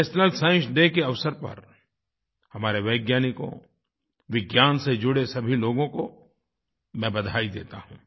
national science day के अवसर पर हमारे वैज्ञानिकों विज्ञान से जुड़े सभी लोगों को मैं बधाई देता हूँ